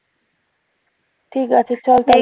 ঠিক আছে চল